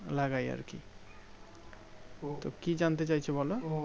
লাগাই আর কি তো কি জানতে চাইছো বোলো